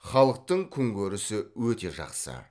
халықтың күнкөрісі өте жақсы